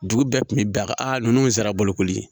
Dugu bɛɛ kun bɛ bɛn a kan a ninnu sera bolokoli ye